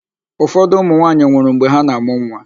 Ụfọdụ ụmụnwaanyị nwụrụ mgbe ha na-amụ nwa.